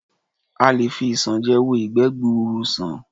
A lè fi isanje wo ìgbẹ́ gbuuru sàn.